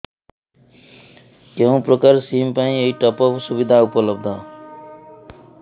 କେଉଁ ପ୍ରକାର ସିମ୍ ପାଇଁ ଏଇ ଟପ୍ଅପ୍ ସୁବିଧା ଉପଲବ୍ଧ